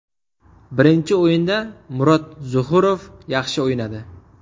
Birinchi o‘yinda Murod Zuhurov yaxshi o‘ynadi.